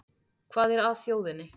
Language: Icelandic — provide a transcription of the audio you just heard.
Hvað er að þjóðinni